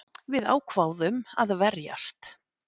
Við ákváðum að verjast